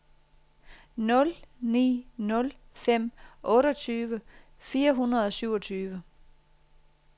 nul ni nul fem otteogtyve fire hundrede og syvogtyve